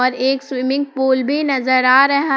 एक swimming pool भी नजर आ रहा--